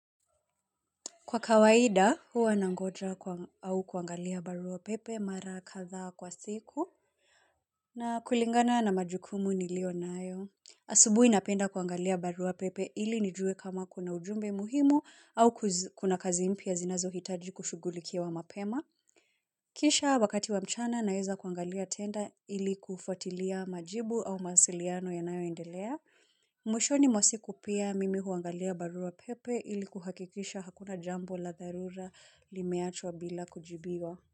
Kwa kawaida, huwa nangoja au kuangalia barua pepe mara kadha kwa siku na kulingana na majukumu niliyo nayo. Asubuhi napenda kuangalia barua pepe ili nijue kama kuna ujumbe muhimu au kuna kazi mpya zinazo hitaji kushugulikiwa mapema. Kisha wakati wa mchana naweza kuangalia tena ili kufuatilia majibu au mawasiliano yanayo endelea. Mwishoni mwa siku pia mimi huangalia barua pepe ili kuhakikisha hakuna jambo la dharura limeachwa bila kujibiwa.